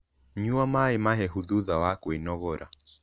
Nyua maĩ mahehu thutha wa kwĩnogora